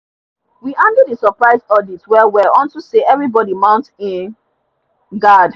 we handle the surprise audit well well unto say everybody mount e guard